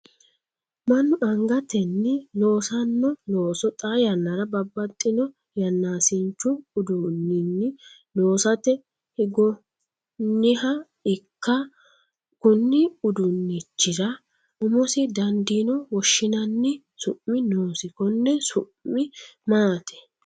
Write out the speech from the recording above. Manu angatenni loosano looso xaa yannara babbaxino yanaasinchu uduuninni loosate higooniha ikka konni uduunnichira umosi dandiino woshinnanni su'mi noosi konne su'mi maati?